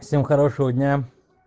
всем хорошего дня